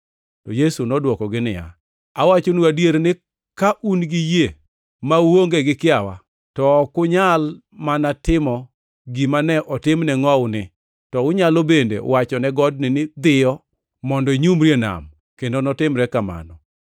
To Yesu nodwokogi niya, “Awachonu adier ni ka un gi yie ma uonge gi kiawa, to ok unyal mana timo gima ne otim ne ngʼowuni, to unyalo bende wacho ne godni ni, ‘Dhiyo mondo inyumri e nam,’ kendo notimre kamano.